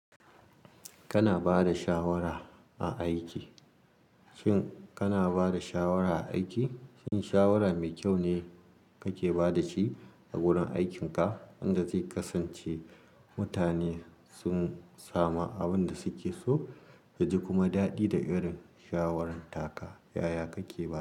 Kana ba da shawara a aiki? Shin kana ba da shawara a aiki? Shin shawara mai kyau ne kake ba da shi a wurin aikinka wanda zai kasance mutane sun samu abin da suke so, yaji kuma daɗi da irin shawarar taka kaya kake ba.